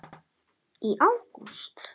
Gunnar Atli: Í ágúst?